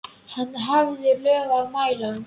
Hann hafði lög að mæla.